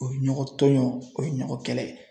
O ye ɲɔgɔn tɔɲɔgɔn o ye ɲɔgɔn kɛlɛ ye